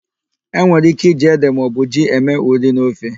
E nwere íké iji ede maọbụ ji eme ụrị n'ofe.